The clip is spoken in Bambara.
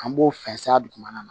An b'o fɛnsɛya dugumana na